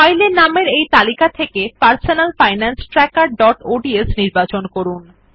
ফাইলের নামের এই তালিকা থেকে পারসোনাল ফাইনান্স ট্র্যাকের ডট অডস নির্বাচন করুন